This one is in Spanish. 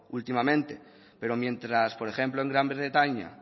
últimamente pero mientras por ejemplo en gran bretaña